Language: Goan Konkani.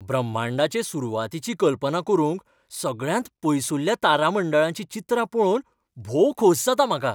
ब्रह्मांडाचे सुरवातीची कल्पना करूंक सगळ्यांत पयसुल्ल्या तारामंडळाचीं चित्रां पळोवन भोव खोस जाता म्हाका.